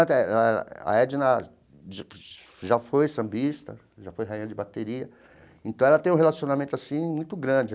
Ah a Edna já foi sambista, já foi rainha de bateria, então ela tem um relacionamento assim muito grande.